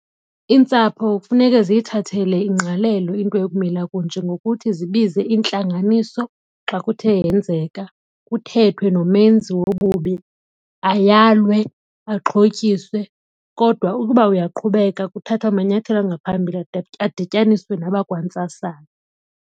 Iintsapho kufuneke ziyithathele ingqalelo into ekumila kunje ngokuthi zibize intlanganiso xa kuthe yenzeka kuthethwe nomenzi wobubi ayalwe, axhotyiswe. Kodwa ukuba uyaqhubeka kuthathwe amanyathelo angaphambili adityaniswe nabakwantsasana.